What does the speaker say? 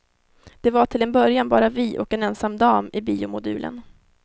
Det var till en början bara vi och en ensam dam i biomodulen.